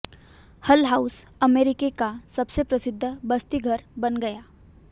हल House America का सबसे प्रसिद्ध बस्ती घर बन गया